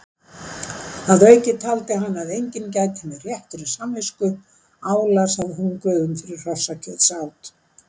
Að auki taldi hann að enginn gæti með réttri samvisku álasað hungruðum fyrir hrossakjötsát.